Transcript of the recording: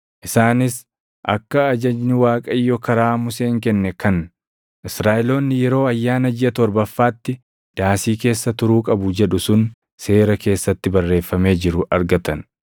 Isaanis akka ajajni Waaqayyo karaa Museen kenne kan, Israaʼeloonni yeroo ayyaana jiʼa torbaffaatti daasii keessa turuu qabu jedhu sun seera keessatti barreeffamee jiru argatan;